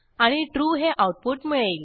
आणि ट्रू हे आऊटपुट मिळेल